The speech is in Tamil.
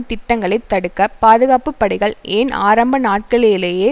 திட்டங்களை தடுக்க பாதுகாப்பு படைகள் ஏன் ஆரம்ப நாட்களிலேயே